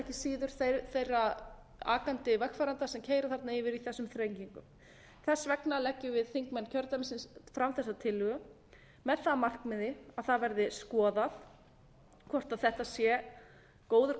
ekki síður þeirra akandi vegfarenda sem keyra þarna yfir í þessum þrengingum þess vegna leggjum við þingmenn kjördæmisins fram þessa tillögu með það að markmiði að það verði skoðað hvort þetta sé góður